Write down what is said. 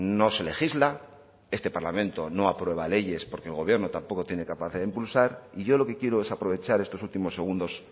no se legisla este parlamento no aprueba leyes porque el gobierno tampoco tiene capacidad de impulsar y yo lo que quiero es aprovechar estos últimos segundos